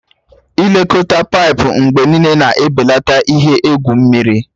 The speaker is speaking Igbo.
Ị lekọta paipu mgbe niile na-ebelata ihe egwu mmiri.